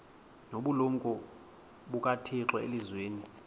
nobulumko bukathixo elizwini